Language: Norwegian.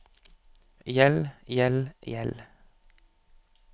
gjeld gjeld gjeld